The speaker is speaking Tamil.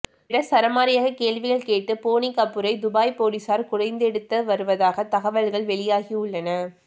என சரமாரியாக கேள்விகள் கேட்டு போனி கபூரை துபாய் போலீசார் குடைந்தெடுத்த வருவதாக தகவல்கள் வெளியாகியுள்ளன